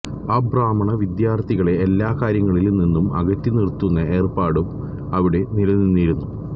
അബ്രാഹ്മണ വിദ്യാർത്ഥികളെ എല്ലാ കാര്യങ്ങളിൽ നിന്നും അകറ്റിനിർത്തുന്ന ഏർപ്പാടും അവിടെ നിലനിന്നിരുന്നു